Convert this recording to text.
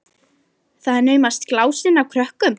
Það er naumast glásin af krökkum